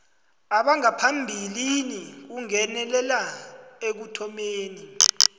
bangaphambilini kungenelela ekuthomeni